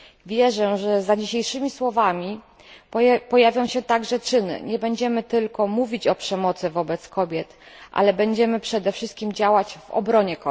Wierzę, że za dzisiejszymi słowami pojawią się także czyny i nie będziemy tylko mówić o przemocy wobec kobiet, ale będziemy przede wszystkim działać w ich obronie.